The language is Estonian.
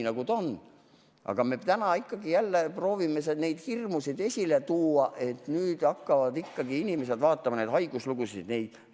Aga täna proovime me ikka ja jälle tuua esile neid hirmusid, et nüüd hakkavad inimesed teiste haiguslugusid vaatama.